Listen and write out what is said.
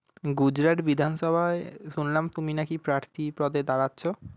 গুজরাট বিধানসভায় শুনলাম তুমি নাকি প্রার্থীপদে দাঁড়াচ্ছ?